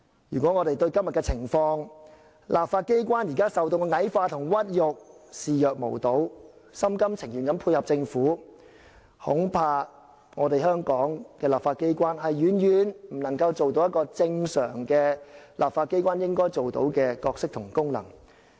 如果我們對今天的情況，對立法機關現時受到矮化和屈辱的情況視若無睹，心甘情願地配合政府，恐怕香港的立法機關遠遠不能擔當正常立法機關應有的角色和功能。